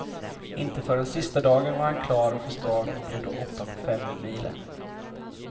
Inte förrän sista dagen var han klar för start och blev då åtta på femmilen.